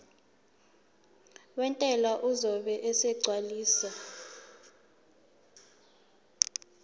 wentela uzobe esegcwalisa